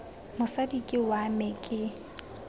mosadi ke wa me ke